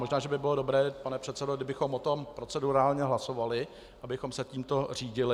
Možná že by bylo dobré, pane předsedo, kdybychom o tom procedurálně hlasovali, abychom se tímto řídili.